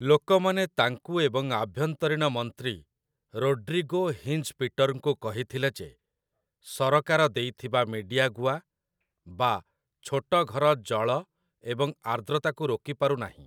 ଲୋକମାନେ ତାଙ୍କୁ ଏବଂ ଆଭ୍ୟନ୍ତରୀଣ ମନ୍ତ୍ରୀ ରୋଡ୍ରିଗୋ ହିଞ୍ଜ୍‌ପିଟର୍‌ଙ୍କୁ କହିଥିଲେ ଯେ ସରକାର ଦେଇଥିବା ମିଡିଆଗୁଆ ବା ଛୋଟ ଘର ଜଳ ଏବଂ ଆର୍ଦ୍ରତାକୁ ରୋକି ପାରୁନାହିଁ ।